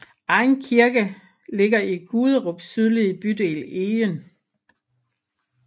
Egen Kirke ligger i Guderups sydlige bydel Egen